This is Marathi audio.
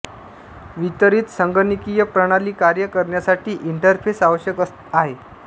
वितरित संगणकीय प्रणाली कार्य करण्यासाठी इंटरफेस आवश्यक आहे